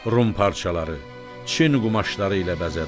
Rum parçaları, Çin qumaşları ilə bəzədi.